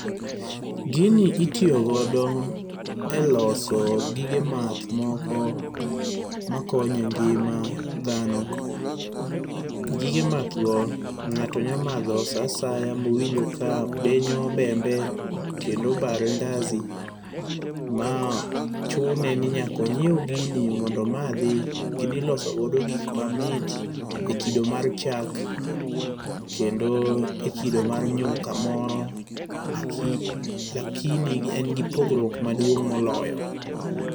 Gini itiyo godo eloso gige math moko makonyo engima dhano. Gige mathgo, ng'ato nyalo madho e sa asaya mowinjo ka midenyo kendo obare ndasi, ma chune ni nyaka ong'iew gini mondo omadhi. Gini iloso godo gik mamit, ekido mar chak, kendo ekido mar nyuka moro laki lakini en gi pogruok maduong' moloyo.